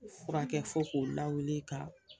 Furakɛ fo k'o lawuli ka